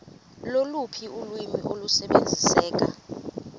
loluphi ulwimi olusebenziseka